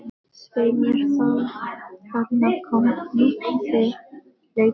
Svei mér þá, þarna kom Lúlli hlaupandi.